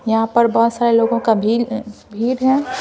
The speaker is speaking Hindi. यहां पर बहुत सारे लोगों का भीड़ है।